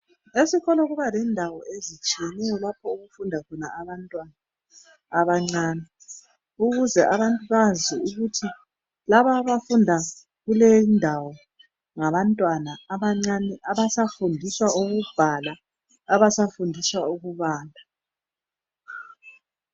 Esikolo kuba lendawo ezitshiyeneyo lapho okufunda khona abantwana abancane ukuze abantu bazi ukuthi laba abafunda kulendawo ngabantwana abancane abasafundiswa ukubhala, abasafundiswa ukubala.